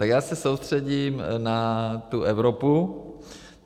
Tak já se soustředím na tu Evropu.